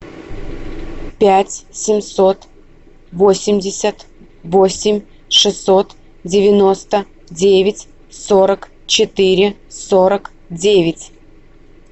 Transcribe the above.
пять семьсот восемьдесят восемь шестьсот девяносто девять сорок четыре сорок девять